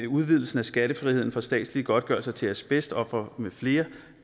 udvidelsen af skattefriheden for statslige godtgørelser til asbestofre med flere